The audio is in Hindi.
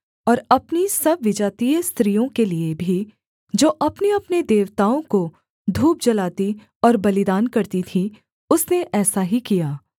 और अपनी सब विजातीय स्त्रियों के लिये भी जो अपनेअपने देवताओं को धूप जलाती और बलिदान करती थीं उसने ऐसा ही किया